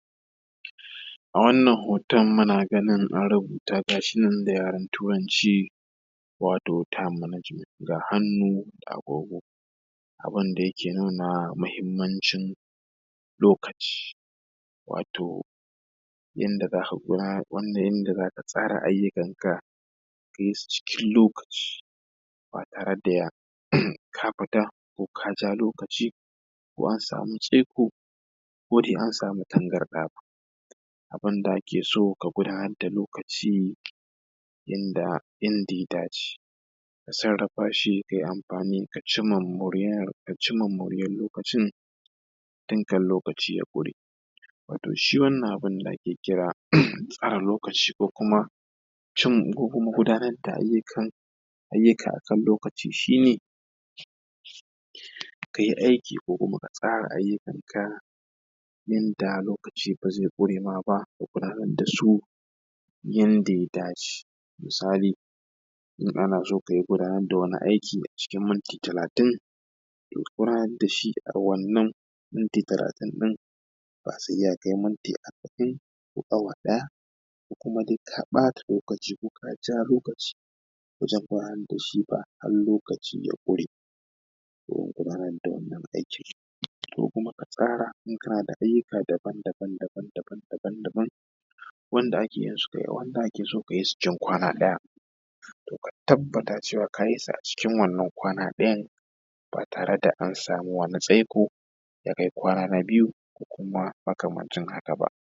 A wannan hoton muna ganin an rubuta, ga shi nan da yaren Turanci wato time management. Ga hannu ga agogon da ke nuna muhimmnacin lokaci, wato yadda za ka tsara ayyukanka ka yi su cikin lokaci; ba tare da ka fita ko ka ja lokaci ko an samu tsaiko ko dai an samu tangarɗa ba. Abin da ake so ka gudanar da lokaci, yadda inda ya dace ka sarrafa shi. Ka yi amfani ka cimma moriyar lokacin tun kan lokacin ya ƙure. Wato shi wannan abin da ake kira tsare lokaci, ko kuma gudanar da ayyuka a kan lokaci shi ne; ka yi aiki ko kuma ka tsara ayyuakanka yadda lokaci ba zai ƙure ma ka ba. Ka gudanar da su yadda ya dace. Misali, in ana son ka gudanar da wani aiki a cikin minti talatin, ko ka gudanar da shi a cikin wannan minti talatin ɗin, ba sai ya kai minti arba’in ko awa ɗaya. Ko kuma dai ka ɓata lokaci, ko ka ja lokaci wajen gudanar da shi ba, har lokaci ya ƙure domin gudanar da wannna aikin. Ko kuma ka tsara ayyuka daban-daban, daban-daban, wanda ake yin su da yawa da wanda ake yin su wajen kwana ɗaya. Ka tabbata a kwana ɗayan ba tare da an samu wani tsaiko, ya yi kwana biyu, ko makamancin haka ba.